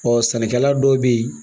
sɛnɛkɛla dɔw bɛ yen